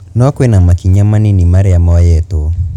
No kwina makinya manini maria moyetwo